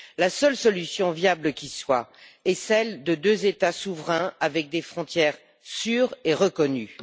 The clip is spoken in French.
La seule solution viable qui soit est celle de deux États souverains avec des frontières sûres et reconnues.